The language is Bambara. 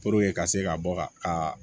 ka se ka bɔ ka